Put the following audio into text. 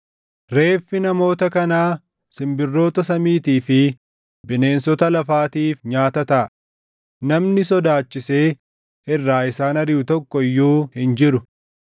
Kanaafuu beekkadhaa! Barri itti namoonni iddoo sanaan, siʼachi Sulula qalmaa jedhanii waaman malee Toofet yookaan Sulula Ben Hinoom hin jenne ni dhufa; isaan hamma iddoon hanqatutti Toofetitti warra duʼan awwaaluutii, jedha Waaqayyo.